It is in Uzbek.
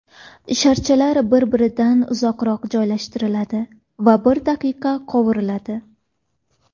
Sharchalar bir-biridan uzoqroq joylashtiriladi va bir daqiqa qovuriladi.